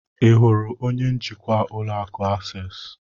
Ị hụrụ onye njikwa ụlọ akụ Akses?